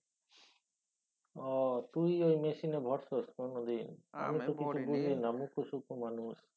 ও তুই ঐ machine এ ভরছস কোনোদিন? আমি তো কিছু বুঝিনা মুকখু সুক্ষু মানুষ।